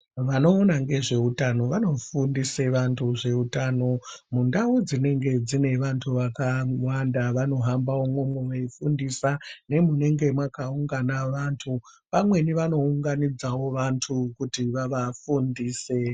Vanoona ngezveutano vanofundise vantu zveutano mundau dzinenenge dziine vantu vakawanda vanohamba imwomo veifundisa nemunenge makaungana vantu pamweni vanounganidzawo vantu kuti vavafundise .